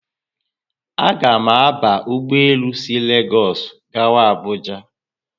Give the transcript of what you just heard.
A ga mụ aba ụgbọelu si Legosu aga Abuuja